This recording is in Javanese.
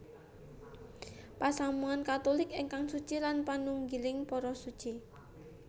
Pasamuwan Katulik ingkang suci lan panunggiling para Suci